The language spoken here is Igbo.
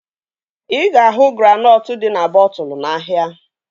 Ị ga-ahụ granọtụ dị na bọtụlu n'ahia